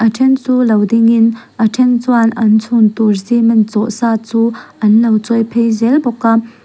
a ṭhen chu lo dingin a ṭhen chuan an chhun tur cement chawh sa chu anlo chawi phei zel bawk a.